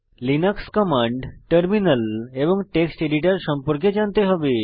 Linux command terminal এবং text editor সম্পর্কে জানতে হবে